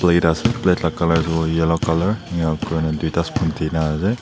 edas plate laga colour tu yellow colour yao te duita spoon de na ase.